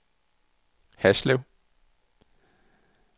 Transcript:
Haslev